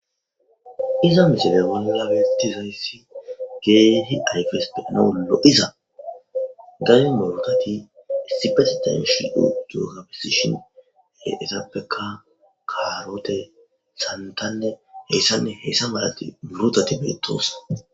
iza misele wannawetizayssi geehi ayfes peanawollo iza gay murotati estipasi ta yushi uddu habesishinezabeka karote santanne heyssanne heessa malat burotati beettoosa